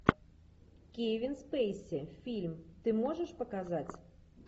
кевин спейси фильм ты можешь показать